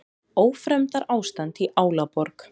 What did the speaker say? Ófremdarástand í Álaborg